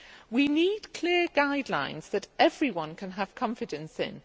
We need clear guidelines that everyone can have confidence in.